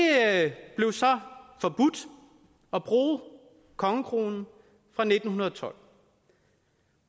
blev så forbudt at bruge kongekronen fra nitten tolv